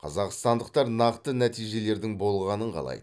қазақстандықтар нақты нәтижелердің болғанын қалайды